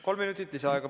Kolm minutit lisaaega.